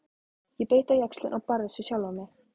Ég beit á jaxlinn og barðist við sjálfa mig.